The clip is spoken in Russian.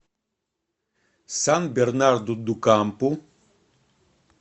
сан бернарду ду кампу